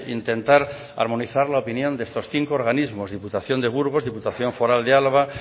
intentar armonizar la opinión de estos cinco organismos diputación de burgos diputación foral de álava